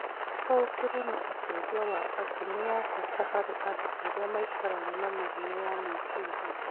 Gũtaũkĩrũo na ũteithio wa andũ nĩ wa bata harĩ andũ arĩa maikaraga na mĩrimũ ya meciria.